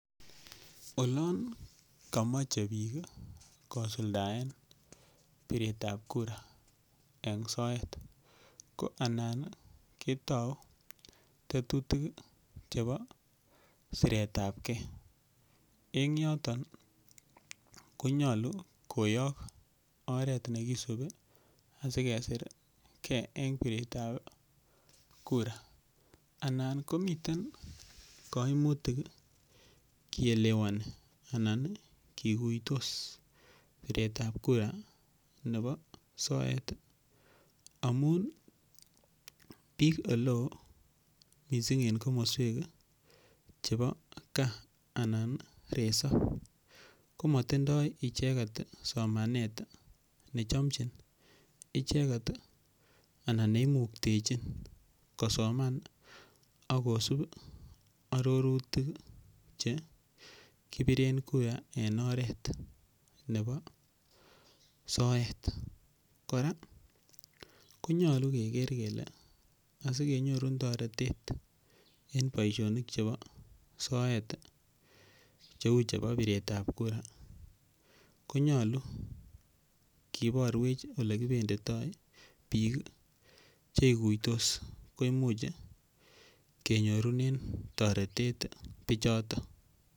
Olon komoche biik kosuldaen piret ab kura en soet ko anan ketou tetutik chebo siret ab ge en yoton konyolu koyok oret ne kisubi asi kesir ge en piretab kura anan komiten koimtik keelewani anan kiguitos piretab kura nebo soet amun biik ole oo mising en komoswek chebo gaa anan resop komotindoi icheget somanet en chomchin icheget anan neimuktechin kosoman ak kosub arorutik che kiberen kura en oret nebo soet. Kora konyolu keger kele asikenyorun toretet en bosonik chebo soet cheu piretab kura ko nyolu kiborwech ole kibendito biik che iguitos komuch kenyorunen toretet bichoto.